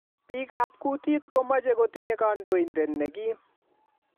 Biik ab kutit ko mache kotinye kandoinatet ne kim